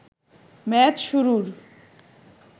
match শুরুর